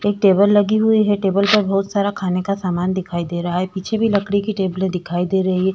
एक टेबल लगी हुई है। टेबल पर बोहोत सारा खाने का सामान दिखाई दे रहा है। पीछे भी लकड़ी की टेबलें दिखाई दे रही हैं।